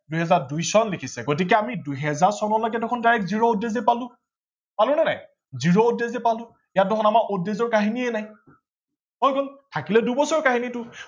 দুহেজাৰ দুই চন লিখিছে গতিকে আমি দুহেজাৰ চনলৈকে চোন direct zero odd days এ পালো। পালো নে নাই zero odd days এ পালো ইয়াত দেখোন আমাৰ odd days ৰ কাহিনীয়ে নাই। হৈ গল থাকিলে দুবছৰ কাহিনীটো